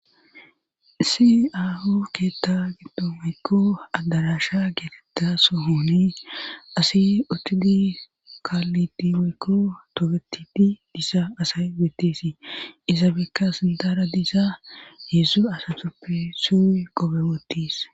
Siahu keetta giddo moykko adarasha geetetta so hooni asi utudi kaallidi moykko togetidi diisa asay wettesii izabekka sildara diisa yedsu asasuppe su qope woottiis.